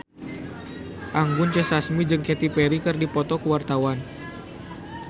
Anggun C. Sasmi jeung Katy Perry keur dipoto ku wartawan